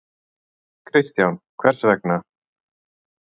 Kristján: Hvers vegna?